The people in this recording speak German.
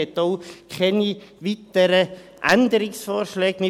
das kann ich auch hier bereits sagen.